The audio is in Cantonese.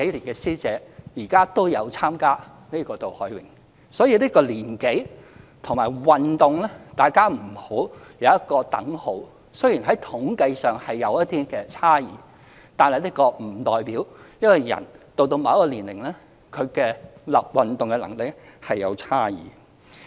因此，大家不要將年紀與運動劃上等號，雖然在統計上顯示存在一些差異，但這並不代表一個人到某一年齡其運動能力便有差異。